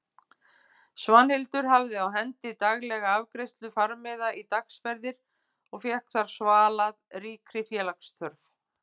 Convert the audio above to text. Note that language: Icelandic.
Svanhildur hafði á hendi daglega afgreiðslu farmiða í dagsferðir og fékk þar svalað ríkri félagsþörf.